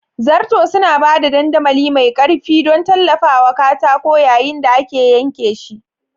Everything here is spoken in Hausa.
Zarto suna ba da dandamali mai ƙarfi don tallafawa katako yayin da ake yanke shi.